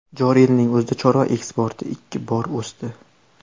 Joriy yilning o‘zida chorva eksporti ikki bor o‘sdi.